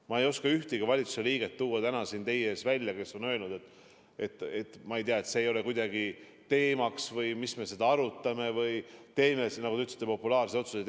Ma ei oska tuua ühtegi valitsuse liiget, kes on öelnud, et see ei ole kuidagi teemaks või mis me seda arutame või teeme ikka, nagu te ütlesite, populaarseid otsuseid.